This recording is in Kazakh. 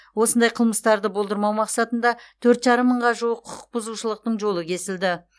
осындай қылмыстарды болдырмау мақсатында тоғыз жарым мыңға жуық құқық бұзушылықтың жолы кесілді